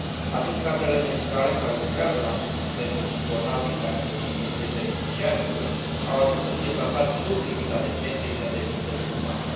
Atât cadrele medicale care lucrează în acest sistem, cât și bolnavii, care ar trebui să fie beneficiarii lui, au ajuns să fie tratați sub limita decenței și a demnității umane.